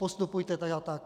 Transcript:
Postupujte tak a tak.